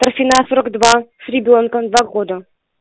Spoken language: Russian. торфяная сорок два с ребёнком два года